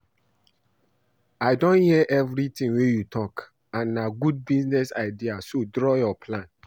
I don hear everything wey you talk and na good business idea so draw your plan